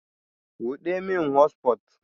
Buɗe min hotsufot